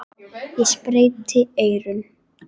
Ég sperrti eyrun.